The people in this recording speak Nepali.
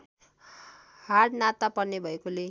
हाडनाता पर्ने भएकोले